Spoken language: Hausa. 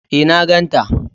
E, na ganta.